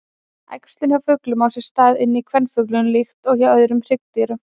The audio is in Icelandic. Æxlun hjá fuglum á sér stað inni í kvenfuglinum líkt og hjá öðrum hryggdýrum.